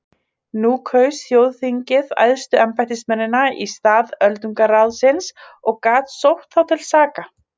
Nú kaus þjóðþingið æðstu embættismennina í stað öldungaráðsins og gat sótt þá til saka.